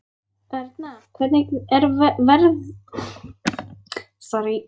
Erna, hvernig verður veðrið á morgun?